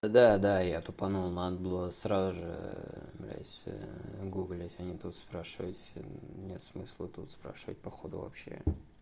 да да я тупанул надо было сразу же блядь гуглить а не тут спрашивать нет смысла тут спрашивать походу вообще